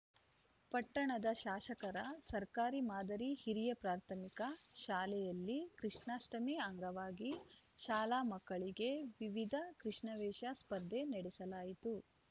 ಪಟ್ಟಣದ ಶಾಸಕರ ಸರ್ಕಾರಿ ಮಾದರಿ ಹಿರಿಯ ಪ್ರಾಥಮಿಕ ಶಾಲೆಯಲ್ಲಿ ಕೃಷ್ಣಾಷ್ಟಮಿ ಅಂಗವಾಗಿ ಶಾಲಾ ಮಕ್ಕಳಿಗೆ ವಿವಿಧ ಕೃಷ್ಣವೇಷ ಸ್ಪರ್ಧೆ ನಡೆಸಲಾಯಿತು